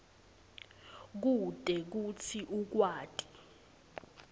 kute kutsi ukwati